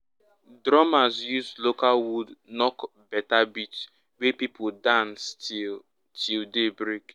drummers use local wood knock better beat wey people dance to till till day break.